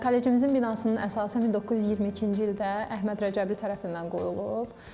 Kollecimizin binasının əsası 1922-ci ildə Əhməd Rəcəbli tərəfindən qoyulub.